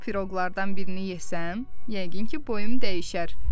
Bu piroqlardan birini yesəm, yəqin ki, boyum dəyişər.